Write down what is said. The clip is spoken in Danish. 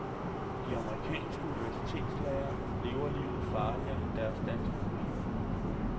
De amerikanske universitetslærere lever livet farligere end deres danske kollegaer.